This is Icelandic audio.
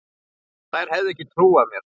Þær hefðu ekki trúað mér.